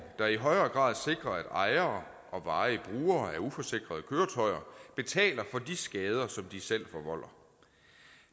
der i højere grad sikrer at ejere og varige brugere af uforsikrede køretøjer betaler for de skader som de selv forvolder